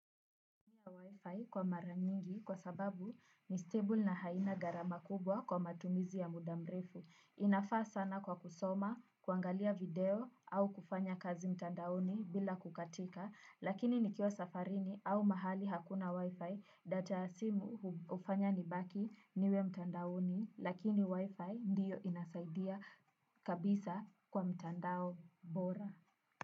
Haiko mara nyingi kwa sababu ni stable na haina gharama kubwa kwa matumizi ya muda mrefu. Inafaa sana kwa kusoma, kuangalia video au kufanya kazi mtandaoni bila kukatika. Lakini nikiwa safarini au mahali hakuna Wi-Fi data ya simu hufanya nibaki niwe mtandaoni. Lakini Wi-Fi ndiyo inasaidia kabisa kwa mtandao bora.